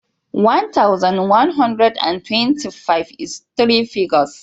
One thousand, one hundred and twenty-five is three figures ne.